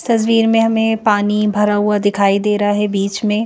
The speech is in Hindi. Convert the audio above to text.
तस्वीर में हमें पानी भरा हुआ दिखाई दे रहा है बीच में--